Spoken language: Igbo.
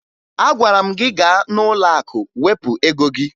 Agwara m gị gaa n'ụlọakụ wepụ ego gị!